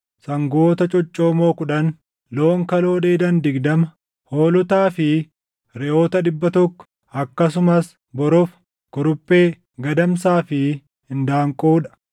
sangoota coccoomoo kudhan, loon kaloo dheedan digdama, hoolotaa fi reʼoota dhibba tokko, akkasumas borofa, kuruphee, gadamsaa fi indaanqoo dha.